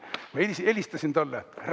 Ma helistasin talle.